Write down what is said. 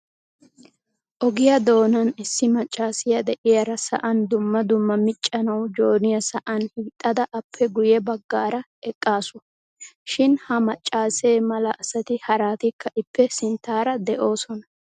Ogiyaa doonan issi maccassiya de'iyaara sa'an dumma dumma miccanaw jooniyaa sa'an hiixadaa appe guyye baggaara eqqaasu. Shin ha maccaasse mala asati haratikka ippe sinttaara de'oosona.